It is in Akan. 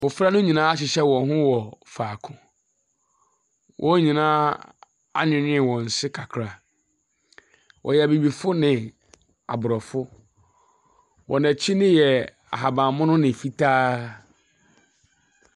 Mmɔfra no nyinaa ahyehyɛ wɔn ho wɔ faako. Wɔn nyinaa anwinwii wɔn se kakra. Ɛyɛ abibifo ne abrɔfo. Wɔn akyi no yɛ ahaban mono ne fitaa.